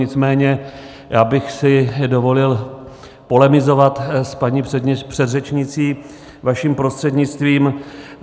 Nicméně já bych si dovolil polemizovat s paní předřečnicí vaším prostřednictvím.